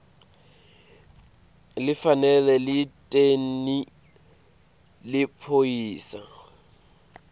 lifanele lenteni liphoyisa